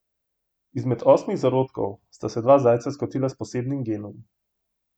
Izmed osmih zarodkov sta se dva zajca skotila s posebnim genom.